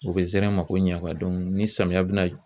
U bɛ zɛrɛn mako ɲɛ ni samiya bɛna